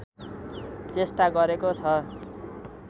चेष्टा गरेको छ